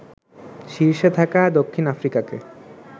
শীর্ষে থাকা দক্ষিণ আফ্রিকাকে